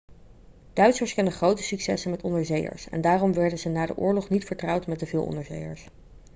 duitsers kenden grote successen met onderzeeërs en daarom worden ze na de oorlog niet vertrouwd met te veel onderzeeërs